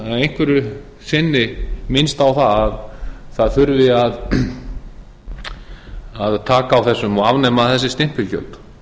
einhverju sinni minnst á að það þurfi að taka á þessu og afnema þessi stimpilgjöld